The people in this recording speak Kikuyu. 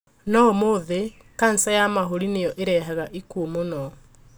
No ũmũthĩ kanja ya mahũri nĩyo ĩrehaga ikuũ mũno.